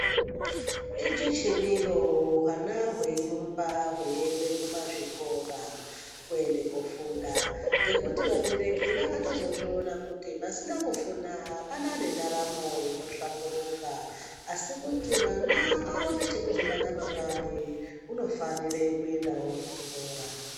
Ijechemiro hwana hweyirumba veienda kuzvikora kuenda koofunda ngenyaya yekuti vabereki vakatozoona kuti pasina kufunda apana nendaramo inohlamburuka asi kuti mwana aone chekuzobata mangwani unofanire kuendawo kuchikora.